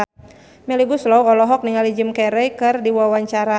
Melly Goeslaw olohok ningali Jim Carey keur diwawancara